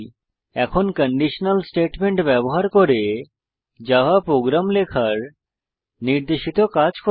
এখন conditional statement ব্যবহার করে জাভা প্রোগ্রাম লেখার নির্দেশিত কাজ করুন